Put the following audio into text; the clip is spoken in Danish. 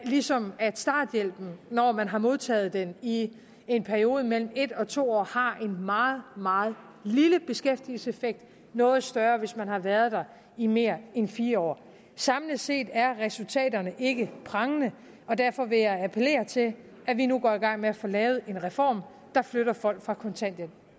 ligesom starthjælpen når man har modtaget den i en periode på mellem en og to år har en meget meget lille beskæftigelseseffekt noget større hvis man har været der i mere end fire år samlet set er resultaterne ikke prangende og derfor vil jeg appellere til at vi nu går i gang med at få lavet en reform der flytter folk fra kontanthjælp